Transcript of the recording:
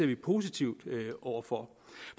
vi positive over for